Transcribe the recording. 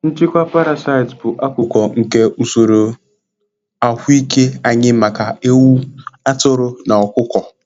Nchịkwa parasites bụ akụkụ nke usoro ahụike anyị maka ewu, atụrụ, na ọkụkọ.